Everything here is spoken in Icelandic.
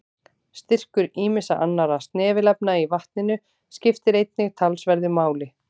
Styrkur ýmissa annarra snefilefna í vatninu skiptir einnig talsverðu máli.